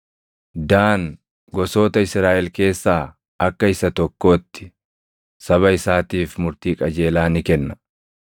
“Daan gosoota Israaʼel keessaa akka isa tokkootti, saba isaatiif murtii qajeelaa ni kenna.